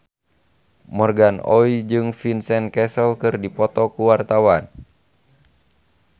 Morgan Oey jeung Vincent Cassel keur dipoto ku wartawan